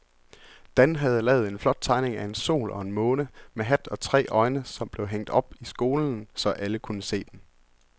Dan havde lavet en flot tegning af en sol og en måne med hat og tre øjne, som blev hængt op i skolen, så alle kunne se den.